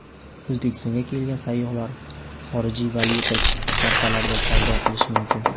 O‘zbekistonga kelgan sayyohlar xorijiy valyuta kartalarida savdo qilishi mumkin.